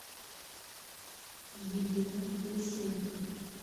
елена лысенко